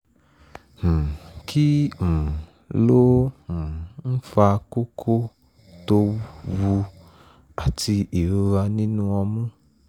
um kí um ló um ń fa kókó to] wu] àti ìrora nínú ọmú?